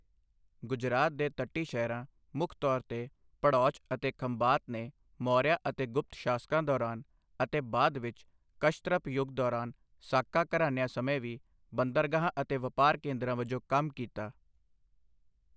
ਗੁਜਰਾਤ ਦੇ ਤੱਟੀ ਸ਼ਹਿਰਾਂ, ਮੁੱਖ ਤੌਰ ਤੇ ਭੜੌਚ ਅਤੇ ਖੰਬਾਤ ਨੇ ਮੌਰੀਆ ਅਤੇ ਗੁਪਤ ਸ਼ਾਸਕਾਂ ਦੌਰਾਨ ਅਤੇ ਬਾਅਦ ਵਿੱਚ ਕਸ਼ਤ੍ਰਪ ਯੁੱਗ ਦੌਰਾਨ ਸਾਕਾ ਘਰਾਣਿਆਂ ਸਮੇਂ ਵੀ ਬੰਦਰਗਾਹਾਂ ਅਤੇ ਵਪਾਰ ਕੇਂਦਰਾਂ ਵਜੋਂ ਕੰਮ ਕੀਤਾ।